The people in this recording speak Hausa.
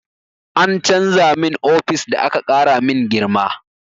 An canza min ofis da aka ƙara min girma.